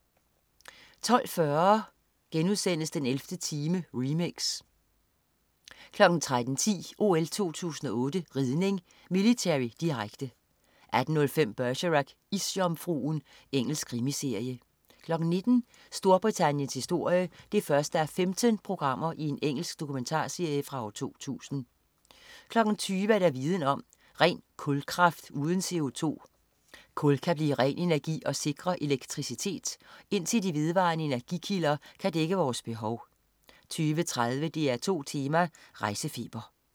12.40 den 11. time, remix* 13.10 OL 2008 ridning: Military, direkte 18.05 Bergerac: Isjomfruen. Engelsk krimiserie 19.00 Storbritanniens historie 1:15. Engelsk dokumentarserie fra 2000 20.00 Viden om: Ren kulkraft uden CO2. Kul kan blive ren energi og sikre elektricitet, indtil de vedvarende energikilder kan dække vores behov 20.30 DR2 Tema: Rejsefeber